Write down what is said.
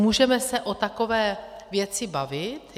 Můžeme se o takové věci bavit.